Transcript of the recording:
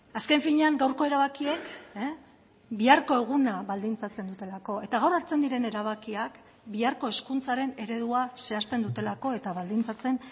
azken finean gaurko erabakiek biharko eguna baldintzatzen dutelako eta gaur hartzen diren erabakiak biharko hezkuntzaren eredua zehazten dutelako eta baldintzatzen